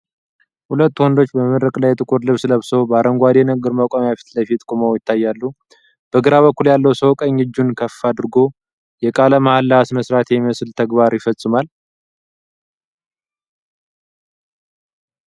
ሁለት ወንዶች በመድረክ ላይ ጥቁር ልብስ ለብሰው በአረንጓዴ የንግግር መቆሚያ ፊት ለፊት ቆመው ይታያሉ። በግራ በኩል ያለው ሰው ቀኝ እጁን ከፍ አድርጎ የቃለ መሃላ ስነስርዓት የሚመስል ተግባር ይፈጽማል።